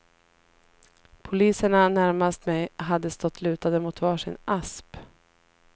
Poliserna närmast mig hade stått lutade mot var sin asp.